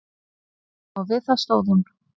Og við það stóð hún.